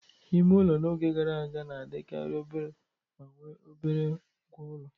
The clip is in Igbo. Ime ụlọ n'oge gara aga na-adịkarị obere ma nwe obere ngwa ulo.